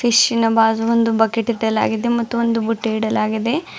Fish ನ ಬಾಜು ಒಂದು ಬಕೆಟ್ ಇಟ್ಟಲಾಗಿದೆ ಮತ್ತು ಒಂದು ಬುಟೃ ಇಡಲಾಗಿದೆ.